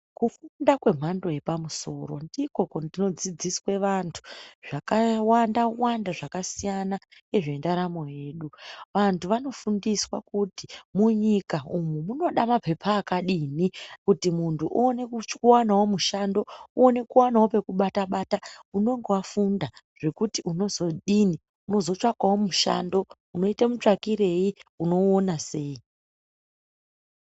Kufunda kwemhando yepamusoro ndikwo kunodzidziswa vantu zvakawanda-wanda zvakasiyana nezvendaramo yedu. Vantu vanofundiswa kuti munyika umu munoda mapepa akadini kuti muntu uone kuwanawo mushando uone kuwanawo pekubata-bata unonga wafunda zvekuti unozodini unozotsvakawo mushando unozoite mutsvakirei unouona sei.